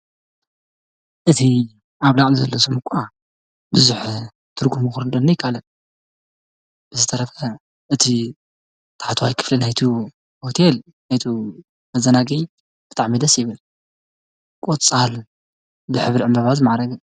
እቲ ኣብ ላዕሊ ዘሎ ስም እኳ ብዙሕ ትርጉሙ ክርደአኒ ኣይካኣለን። ብዝተረፈ እቲ ታሕታዋይ ክፋል ናይቲ ሆቴል ናይቲ መዛናግጊ ብጣዕሚ ደስ ይብል። ቆፃል ብሕብሪ ዕንበባ ዝማዕረገ ።